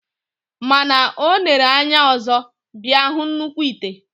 Mana onere anya ọzọ, bia hu nnukw ite.